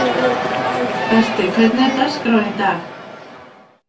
Berti, hvernig er dagskráin í dag?